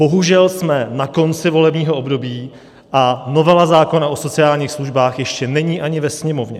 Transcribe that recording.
Bohužel jsme na konci volebního období, a novela zákona o sociálních službách ještě není ani ve Sněmovně.